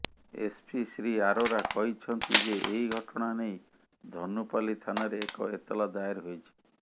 SP Shri Arora କହିଛନ୍ତି ଯେ ଏହି ଘଟଣା ନେଇ ଧନୁପାଲି ଥାନାରେ ଏକ ଏତଲା ଦାୟର ହୋଇଛି